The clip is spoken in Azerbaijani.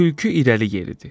Tülkü irəli yeridi.